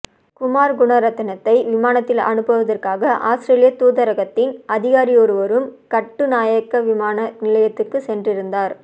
குமார் குணரத்னத்தை விமானத்தில் அனுப்புவதற்காக அவுஸ்திரேலிய தூதரகத்தின் அதிகாரியொருவரும் கட்டுநாயக்க விமான நிலையத்துக்குச் சென்றிருந்தார்